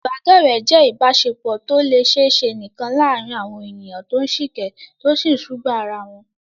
Ìbádọ́rẹ̀ẹ́ jẹ́ ìbáṣepọ̀ tó lè ṣiṣẹ́ nìkan láàárín àwọn ènìyàn tó ń sìkẹ́, tó sì ń sùgbàá ara wọn.